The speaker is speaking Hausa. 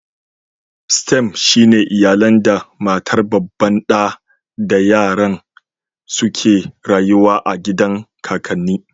"Stem" shine iyalan da matar babban da da yaran su suke rayuwa a gidan kakanni.